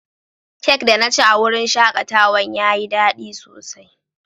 Cak da na ci a'wurin shakatawan ya yi dadi sosai.